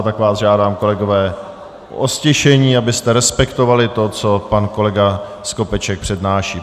A tak vás žádám, kolegové, o ztišení, abyste respektovali to, co pan kolega Skopeček přednáší.